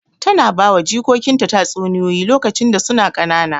Tana bawa jikokinta tatsuniyoyi lokacin da suna ƙanana.